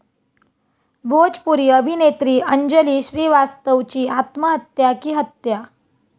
भोजपुरी अभिनेत्री अंजली श्रीवास्तवची आत्महत्या की हत्या?